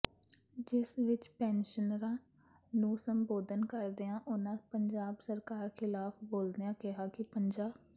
ਜਿਸ ਵਿਚ ਪੈਨਸ਼ਨਰਾਂ ਨੂੰ ਸੰਬੋਧਨ ਕਰਦਿਆਂ ਉਨ੍ਹਾਂ ਪੰਜਾਬ ਸਰਕਾਰ ਖ਼ਿਲਾਫ਼ ਬੋਲਦਿਆਂ ਕਿਹਾ ਕਿ ਪੰਜਾ